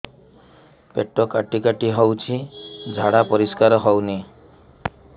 ପେଟ କାଟି କାଟି ହଉଚି ଝାଡା ପରିସ୍କାର ହଉନି